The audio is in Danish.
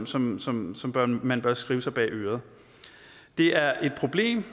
som som man bør skrive sig bag øret det er et problem